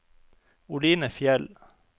Oline Fjeld